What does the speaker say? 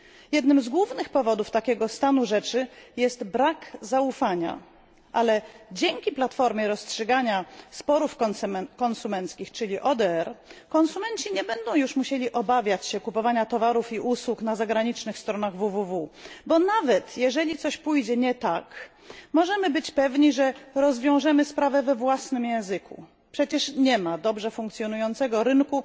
Jednym z głównych powodów takiego stanu rzeczy jest brak zaufania, ale dzięki platformie rozstrzygania sporów konsumenckich, czyli ODR, konsumenci nie będą już musieli obawiać się kupowania towarów i usług na zagranicznych stronach www, bo nawet jeżeli coś pójdzie nie tak, możemy być pewni, że rozwiążemy sprawę we własnym języku. Przecież nie ma dobrze funkcjonującego rynku